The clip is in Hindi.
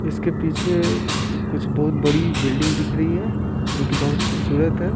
इसके पीछे कुछ बहुत बड़ी बिल्डिंग दिख रही है जो कि बहुत खूबसूरत है।